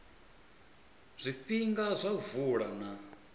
zwifhinga zwa u vula na